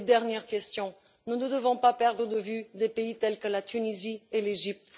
Dernière question nous ne devons pas perdre de vue des pays tels que la Tunisie et l'Égypte.